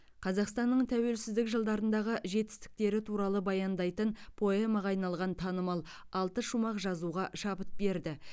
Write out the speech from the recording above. қазақстанның тәуелсіздік жылдарындағы жетістіктері туралы баяндайтын поэмаға айналған танымал алты шумақ жазуға шабыт берді